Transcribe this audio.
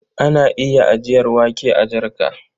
Ana iya ajiyar wake a jarka.